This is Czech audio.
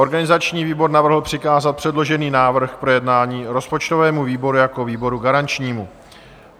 Organizační výbor navrhl přikázat předložený návrh k projednání rozpočtovému výboru jako výboru garančnímu.